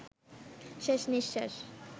শেষ নিঃশ্বাস